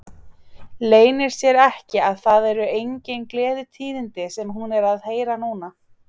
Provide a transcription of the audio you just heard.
Leynir sér ekki að það eru engin gleðitíðindi sem hún er að heyra núna.